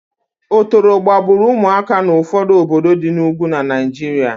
Otoro gbagburu ụmụaka n'ụfọdụ obodo di n'Ugwu na Naịjiria